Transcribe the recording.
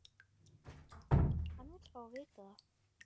Hann vill fá að vita það.